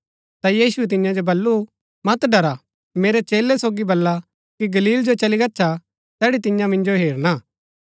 ता यीशुऐ तियां जो बल्लू मत डरा मेरै चेलै सोगी बला कि गलील जो चली गच्छा तैड़ी तियां मिन्जो हेरना